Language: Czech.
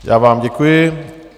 Já vám děkuji.